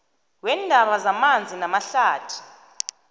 weendaba zamanzi namahlathi